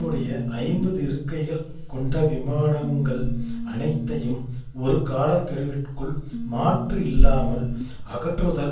ஒரு தேர்ந்த உயிரியல் வல்லுனர் மற்றும் மனித மரபணு திட்டத்தின்